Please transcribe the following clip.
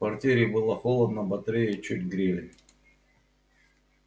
в квартире было холодно батареи чуть грели